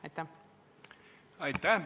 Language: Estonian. Aitäh!